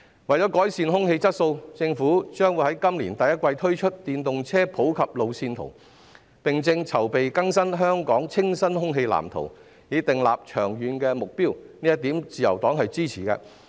為了改善空氣質素，政府將在今年第一季推出電動車普及化路線圖，並正籌備更新《香港清新空氣藍圖》，以訂立長遠的目標，自由黨對此表示支持。